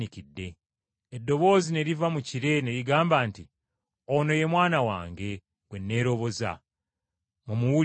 Eddoboozi ne liva mu kire ne ligamba nti, “Ono ye Mwana wange, gwe nneeroboza, mumuwulirize!”